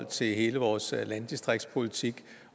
til hele vores landdistriktspolitik